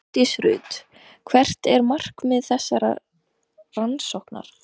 Hjördís Rut: Hvert er markmið þessarar rannsóknar?